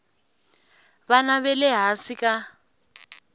vana va le hansi ka